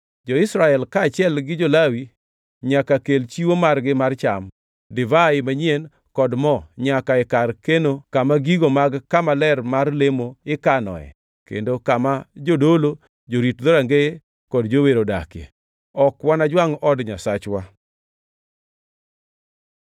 Jo-Israel kaachiel gi jo-Lawi, nyaka kel chiwo margi mar cham, divai manyien kod mo nyaka e kar keno kama gigo mag kama ler mar lemo ikanoe kendo kama jodolo, jorit dhorangeye kod jower odakie. “Ok wanajwangʼ od Nyasachwa.”